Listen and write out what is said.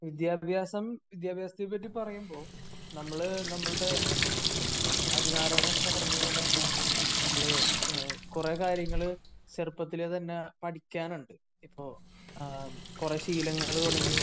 വിദ്യാഭ്യാസം വിദ്യാഭ്യാസത്തെ പാട് പറയുമ്പോ നമ്മള് നമ്മളുടെ ആദിനാരായണൻ പറഞ്ഞ പോലെ തന്നെ നമ്മള് കുറെ കാര്യങ്ങള് ചെറുപ്പത്തിലേ തന്നെ പടിക്കാനുണ്ട്. അപ്പോ കുറെ ശീലങ്ങൾ തുടങ്ങി